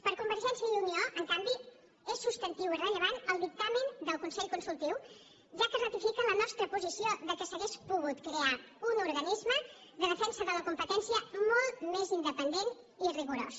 per convergència i unió en canvi és substantiu i rellevant el dictamen del consell consultiu ja que ratifica la nostra posició que s’hauria pogut crear un organisme de defensa de la competència molt més independent i rigorós